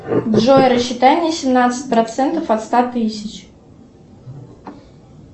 джой рассчитай мне семнадцать процентов от ста тысяч